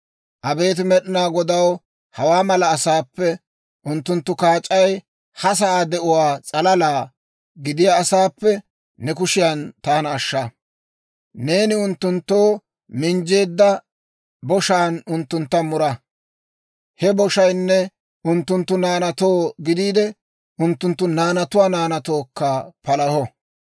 Abeet Med'inaa Godaw, hawaa mala asaappe, Unttunttu kaac'ay ha sa'aa de'uwaa s'alala gidiyaa asaappe ne kushiyan taana ashsha. Neeni unttunttoo minjjeedda boshaan unttuntta mura; he boshaynne unttunttu naanaatoo gidiide, unttunttu naanatuwaa naanatookka palaho.